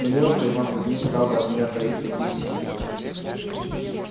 но неужто иван кузмич стал бы от меня таить такие пустяки